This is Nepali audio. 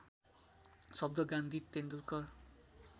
शब्द गान्धी तेन्दुलकर